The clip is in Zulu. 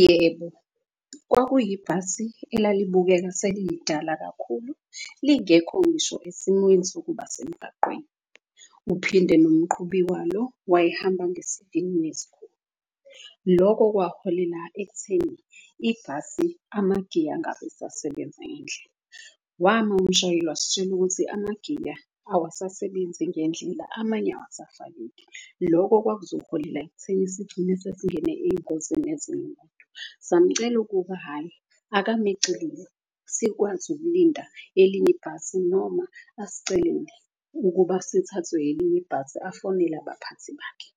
Yebo, kwakuyi yibhasi elalibukeka selilidala kakhulu, lingekho ngisho esimweni sokuba semgaqweni. Uphinde nomqhubi walo wayehamba ngesivinini eskhulu. Loko kwaholela ekutheni ibhasi amagiya angabe esasebenza ngendlela, wama umshayeli wasitshela ukuthi emagiya awasasebenzi ngendlela. Amanye awusafakeki loko kwakuzoholela ekutheni sigcine sesingene eyingozi nezinye . Samcela ukuba hhayi akame eceleni sikwazi ukulinda elinye ibhasi. Noma asicelele ukuba sithathwe elinye ibhasi afonele abaphathi bakhe.